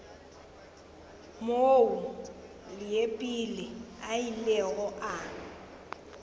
moo leepile a ilego a